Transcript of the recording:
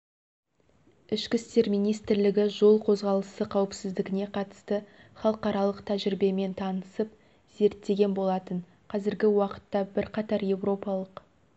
ішкі істер министрлігі жол қозғалысы қауіпсіздігіне қатысты халықаралық тәжірибемен танысып зерттеген болатын қазіргі уақытта бірқатар еуропалық